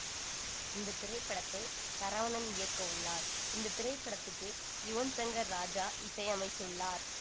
இந்த திரைப்படத்தை சரவணன் இயக்கயுள்ளார் இந்த திரைப்படத்துக்கு யுவன் சங்கர் ராஜா இசை அமைத்துள்ளார்